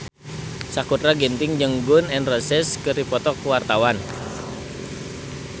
Sakutra Ginting jeung Gun N Roses keur dipoto ku wartawan